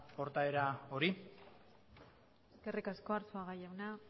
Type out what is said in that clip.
portaera hori eskerrik asko arzuaga jauna